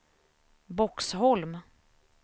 Boxholm